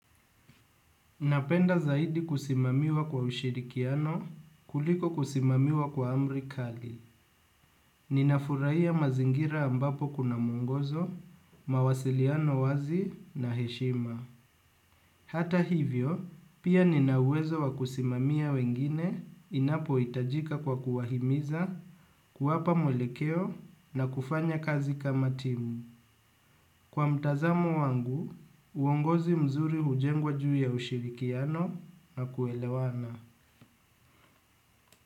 Napenda zaidi kusimamiwa kwa ushirikiano kuliko kusimamiwa kwa amrikali. Ninafuraia mazingira ambapo kuna mungozo, mawasiliano wazi na heshima. Hata hivyo, pia ninauwezo wa kusimamiya wengine inapo itajika kwa kuwahimiza kuwapa mwelekeo na kufanya kazi kama timu. Kwa mtazamo wangu, uongozi mzuri hujengwa juu ya ushirikiano na kuelewana.